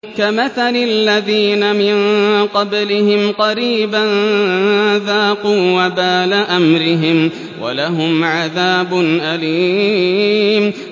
كَمَثَلِ الَّذِينَ مِن قَبْلِهِمْ قَرِيبًا ۖ ذَاقُوا وَبَالَ أَمْرِهِمْ وَلَهُمْ عَذَابٌ أَلِيمٌ